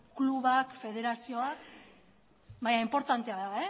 klubak federazioak eta abar baina inportantea da